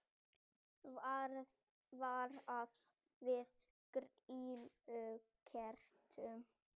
Varað við grýlukertum